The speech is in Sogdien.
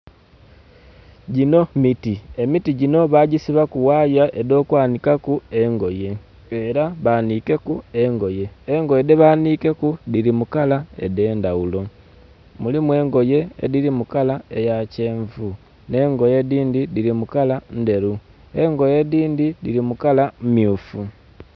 Ginho miti. Emiti ginho bagisibaku waya edh'okwanikaku engoye era banikeku engoye, engoye dhebanikeku dhiri mu kala edendaghulo. Mulimu engoye ediri mu kala eya kyenvu n'engoye edindi diri mu kala nderu, engoye edindi diri mu kala myufu